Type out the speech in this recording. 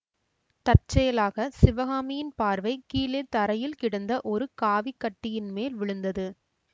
தற்செயலாகச் சிவகாமியின் பார்வை கீழே தரையில் கிடந்த ஒரு காவிக் கட்டியின் மேல் விழுந்தது